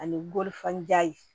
Ani bolifɛnja yen